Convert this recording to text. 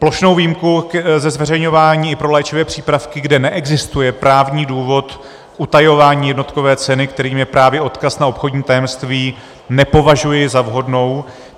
Plošnou výjimku ze zveřejňování i pro léčivé přípravky, kde neexistuje právní důvod utajování jednotkové ceny, kterým je právě odkaz na obchodní tajemství, nepovažuji za vhodnou.